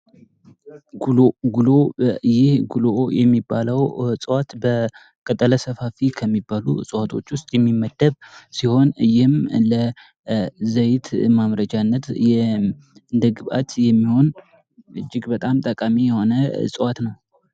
ጉሎ ይህ ጉሎ የሚባለው እጽዋት በ ቅጠለ ሰፋፊ ከሚባሉት ውስጥ የሚመደብ ሲሆን፤ ይህም ለዘይት ማምረቻነት እንደ ግብዓት የሚሆን እጅግ በጣም ጠቃሚ የሆነ እጽዋት ነው።